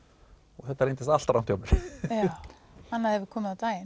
og þetta reyndist allt rangt hjá mér já annað hefur komið á daginn